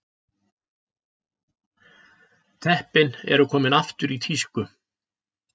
Teppin eru komin aftur í tísku